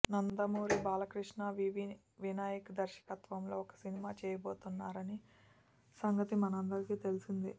Nandamuri Balakrishna V V Vinayak దర్శకత్వంలో ఒక సినిమా చేయబోతున్నారని సంగతి మనందరికీ తెలిసిందే